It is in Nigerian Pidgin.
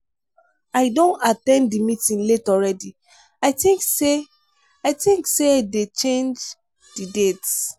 i don at ten d the meeting late already. i think say i think say dey change the date.